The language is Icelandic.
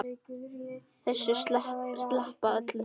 Þessu sleppa þau öllu.